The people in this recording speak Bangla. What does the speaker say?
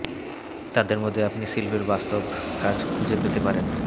তাদের মধ্যে আপনি শিল্পের বাস্তব কাজ খুঁজে পেতে পারেন